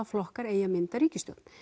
flokkar eigi að mynda ríkisstjórn